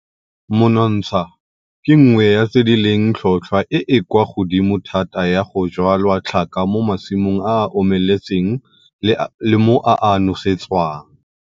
Monontsha ke nngwe ya tse di leng tlhotlhwa e e kwa godimo thata ya go jwala tlhaka mo masimong a a omeletseng le mo a a nosetswang.